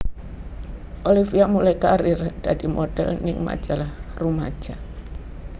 Olivia mulai karir dadi model ning majalah rumaja